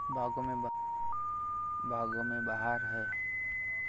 बागों में बहार है